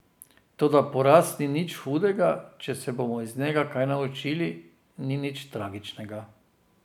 Toda poraz ni nič hudega, če se bomo iz njega kaj naučili, ni nič tragičnega.